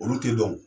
Olu tɛ dɔn